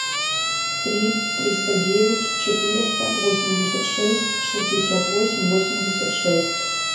три триста девять четыреста восемьдесят шесть шестьдесят восемь восемьдесят шесть